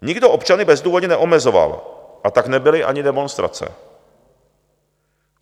Nikdo občany bezdůvodně neomezoval, a tak nebyly ani demonstrace.